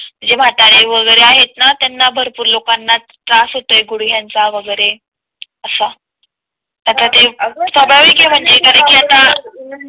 जे म्हातारे वगैरे आहेत ना त्यांना भरपूर लोकांना त्रास होत आहे गुडघ्यांचा वगैरे असा आता ते स्वाभाविक म्हणजे कारण कि आता